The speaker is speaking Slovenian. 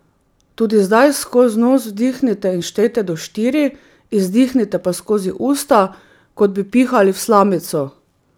Tudi zdaj skozi nos vdihnete in štejete do štiri, izdihnete pa skozi usta, kot bi pihali v slamico.